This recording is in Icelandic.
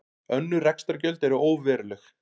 Önnur rekstrargjöld eru óveruleg